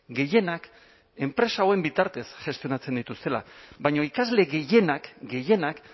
gehienak enpresa hauen bitartez gestionatzen dituztela baina ikasle gehienak gehienak